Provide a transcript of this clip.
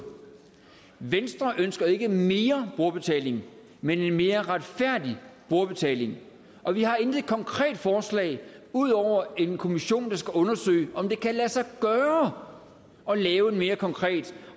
venstre ønsker ikke mere brugerbetaling men en mere retfærdig brugerbetaling og vi har intet konkret forslag ud over en kommission der skal undersøge om det kan lade sig gøre at lave en mere konkret